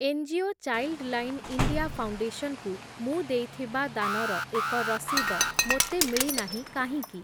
NGO Childline India Foundation କୁ ମୁଁ ଦେଇଥିବା ଦାନର ଏକ ରସିଦ ମୋତେ ମିଳିନାହିଁ କାହିଁକି?